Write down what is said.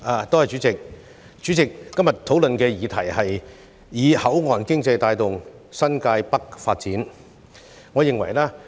代理主席，今天討論的議題是"以口岸經濟帶動新界北發展"。